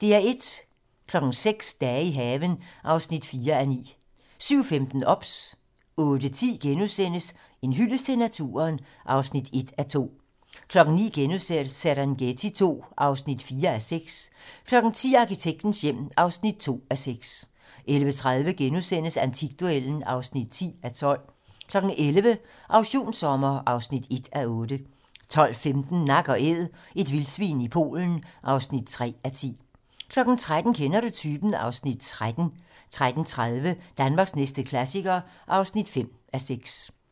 06:00: Dage i haven (4:9) 07:15: OBS 08:10: En hyldest til naturen (1:2)* 09:00: Serengeti II (4:6)* 10:00: Arkitektens hjem (2:6) 10:30: Antikduellen (10:12)* 11:00: Auktionssommer (1:8) 12:15: Nak & Æd - et vildsvin i Polen (3:10) 13:00: Kender du typen? (Afs. 13) 13:30: Danmarks næste klassiker (5:6)